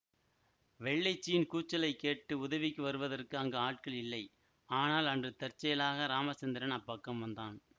வெள்ளைச்சியின் கூச்சலைக் கேட்டு உதவிக்கு வருவதற்கு அங்கு ஆட்கள் இல்லை ஆனால் அன்று தற்செயலாக ராமசந்திரன் அப்பக்கம் வந்தான்